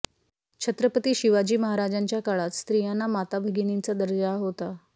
छत्रपती शिवाजी महाराजांच्या काळात स्त्रियांना माता भगिनींचा दर्जा होता